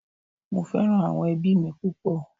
Mo fẹ́ràn àwọn ẹbí mi púpọ̀